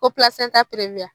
Ko